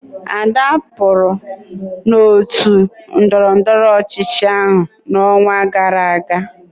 Ada pụrụ n'otu ndọrọndọrọ ọchịchị ahụ n'ọnwa gara aga